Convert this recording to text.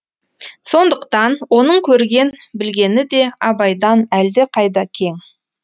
сондықтан оның көрген білгені де абайдан әлдеқайда кең